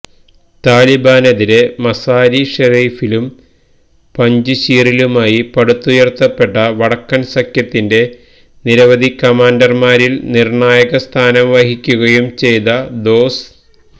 താലിബാനതിരെ മസാരി ഷെറീഫിലും പഞ്ച്ശീറിലുമായി പടുത്തുയർത്തപ്പെട്ട വടക്കൻ സഖ്യത്തിന്റെ നിരവധി കമാൻഡർമാരിൽ നിർണായകസ്ഥാനം വഹിക്കുകയും ചെയ്ത ദോസ്